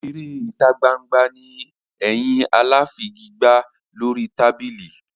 Eré ìtagbangba ni ẹyin aláfigigbá lórí tábìlì.